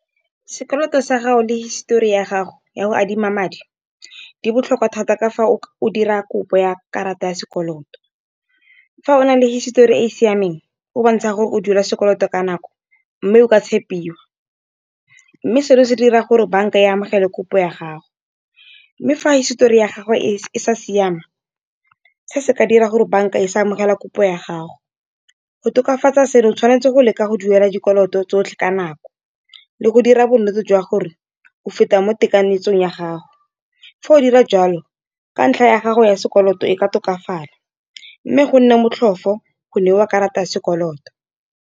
Sekoloto sa gago le histori ya gago ya go adima madi di botlhokwa thata ka fa o dira kopo ya karata ya sekoloto. Fa o na le hisitori e e siameng o bontsha gore o duela sekoloto ka nako, mme o ka tshepiwa, mme seno se dira gore bank-a e amogele kopo ya gago. Mme fa hisitori ya gagwe e sa siama se se ka dira gore banka e sa amogela kopo ya gago. Go tokafatsa seno o tshwanetse go leka go duela dikoloto tsotlhe ka nako, le go dira bonnete jwa gore o feta mo tekanyetsong ya gago. Fa o dira jalo ka ntlha ya gago ya sekoloto e ka tokafala, mme go nne motlhofo go ne wa karata ya sekoloto.